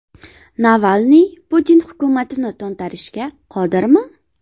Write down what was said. Navalniy Putin hukumatini to‘ntarishga qodirmi?